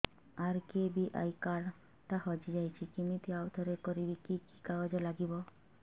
RKBY card ଟା ହଜିଯାଇଛି କିମିତି ଆଉଥରେ କରିବି କି କି କାଗଜ ଲାଗିବ